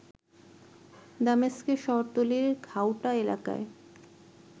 দামেস্কের শহরতলির ঘাউটা এলাকায়